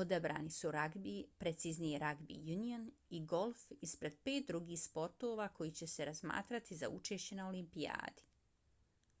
odabrani su ragbi preciznije rugby union i golf ispred pet drugih sportova koji će se razmatrati za učešće na olimpijadi